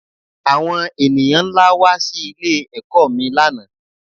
Àwon ènìyàn nlá wá sí ilé ẹ̀kọ́ mi lánàá